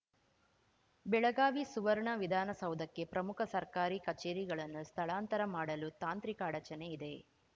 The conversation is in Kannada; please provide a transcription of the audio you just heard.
ಬೆಳಗಾವಿ ಸುವರ್ಣ ವಿಧಾನಸೌಧಕ್ಕೆ ಪ್ರಮುಖ ಸರ್ಕಾರಿ ಕಚೇರಿಗಳನ್ನು ಸ್ಥಳಾಂತರ ಮಾಡಲು ತಾಂತ್ರಿಕ ಅಡಚಣೆ ಇದೆ